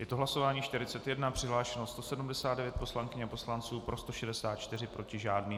Je to hlasování 41, přihlášeno 179 poslankyň a poslanců, pro 164, proti žádný.